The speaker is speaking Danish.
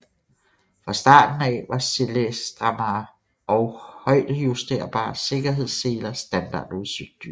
Fra starten af var selestrammere og højdejusterbare sikkerhedsseler standardudstyr